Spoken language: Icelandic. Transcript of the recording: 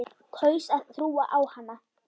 Kaus að trúa á hana.